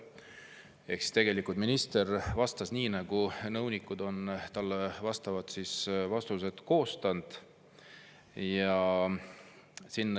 Ehk tegelikult minister vastas nii, nagu nõunikud on talle vastused koostanud.